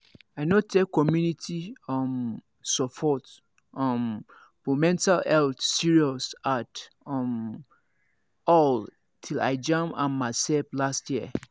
i no take community um support um for mental health serious at um all till i jam am myself last year